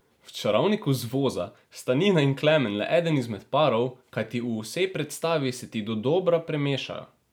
V Čarovniku z voza sta Nina in Klemen le eden izmed parov, kajti v vsej predstavi se ti dodobra premešajo.